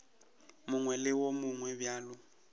mongwe le wo mongwe bjalo